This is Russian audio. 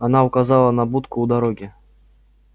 она указала на будку у дороги